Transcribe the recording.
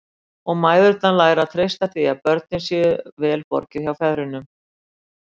Og mæðurnar læra að treysta því að börnunum sé vel borgið hjá feðrunum.